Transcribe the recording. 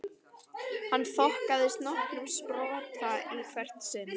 Hann þokaðist nokkurn spotta í hvert sinn.